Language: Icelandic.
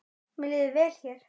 Mér líður vel hér.